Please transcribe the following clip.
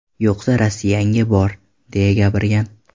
Yo‘qsa, Rossiyangga bor!”, deya gapirgan.